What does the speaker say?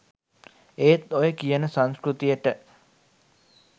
ඒත් ඔය කියන සංස්කෘතියට